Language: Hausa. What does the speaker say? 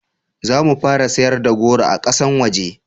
zamu fara sayarda da goro a ƙasan waje